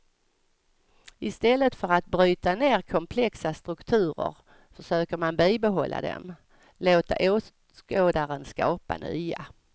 Istället för att bryta ner komplexa strukturer, försöker man bibehålla dem, låta åskådaren skapa nya.